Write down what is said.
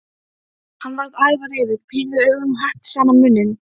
Hann varð ævareiður, pírði augun og herpti saman munninn.